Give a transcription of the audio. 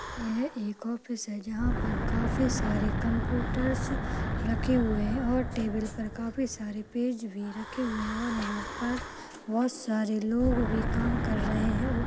एक ऑफिस हे जहापर काफी सारे कंप्यूटर रखे हुए है और टेबल पर काफी सारे पेज भी रखे हुए है और यहाँ पर बहुतसारे लोग भी कम कर रहे है। उप --